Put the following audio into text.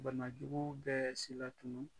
Banajugu bɛɛ silatunu